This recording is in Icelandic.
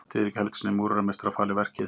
Diðrik Helgasyni múrarameistara falið verkið.